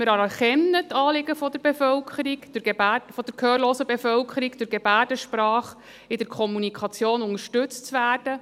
Wir anerkennen die Anliegen der gehörlosen Bevölkerung, durch Gebärdensprache in der Kommunikation unterstützt zu werden.